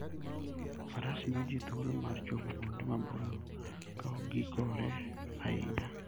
Faras miyo ji thuolo mar chopo kuonde maboyo ka ok giikore ahinya.